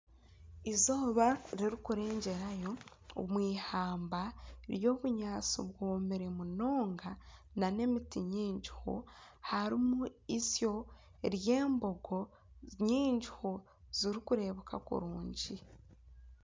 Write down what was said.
Eizooba ririkurengyerayo omwihamba ry'obunyaatsi bwomire munonga nan emiti mingiho. Harimu istyo ry'embogo nyingiho zirikureebeka kurungi.